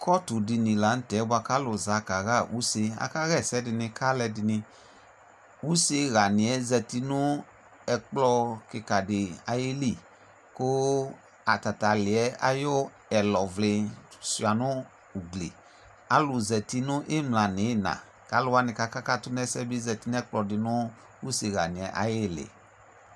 Kɔtʋdini la nʋtɛ bʋa k'alʋ za kaɣa use : akaɣa ɛsɛdɩnɩ k'alʋɛdɩnɩ Useɣanɩɛ zati nʋ ɛkplɔ kɩkadɩ ayili, kʋ atat'alɩɛ ayʋ ɛlɔvlɩ sʋɩa nʋ ugli Alʋ zati nʋ ɩmla n'ɩyɩna ; k'alʋwanɩ k'aka katʋ n'ɛsɛɛ bɩ zati n'ɛkplɔɛtʋ nʋ useɣanɩɛ ayɩlɩ